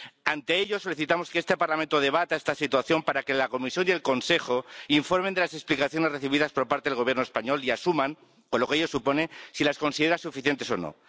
Ante ello, solicitamos que este Parlamento debata esta situación para que la Comisión y el Consejo informen de las explicaciones recibidas por parte del Gobierno español y asuman —con lo que ello supone— si las considera suficientes o no.